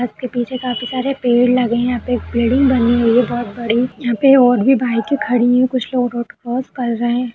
बस के पीछे काफी सारे पेड़ लगे हैं। यहाँ पे बिल्डिंग बनी हुई है बहोत बड़ी यहाँ पे और भी बाइकें खड़ी हैं। कुछ लोग रोड क्रॉस कर रहे हैं।